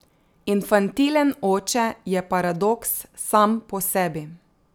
Infantilen oče je paradoks sam po sebi.